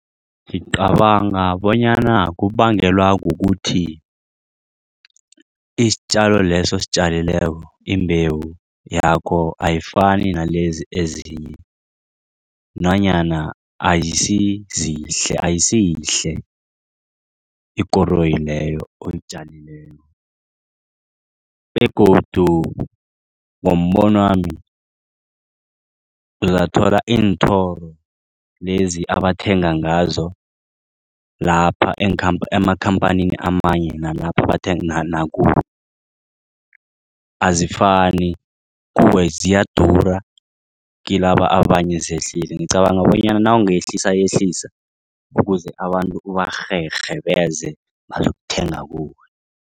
Ngicabanga bonyana kubangelwa kukuthi isitjalo leso ositjalileko imbewu yakho ayifani nalezi ezinye nanyana ayisiyihle ikoroyi leyo oyitjalileko begodu ngombonwami uzathola iinthoro lezi abathenga ngazo lapha emakhamphanini amanye nalapha bathenga azifani kuwe ziyadura kilaba abanye zehlile ngicabanga bonyana nawungayehlisayehlisa ukuze abantu ukuze abantu kubarherhe bazokuthenga kuwe.